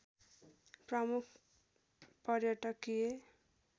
प्रमुख पर्यटकीय